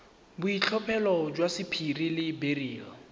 boitlhophelo jwa sapphire le beryl